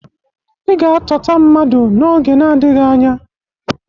Ị ga-atọta mmadụ n'oge nadịghị anya.